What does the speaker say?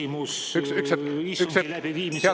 Mul ongi küsimus istungi läbiviimise kohta.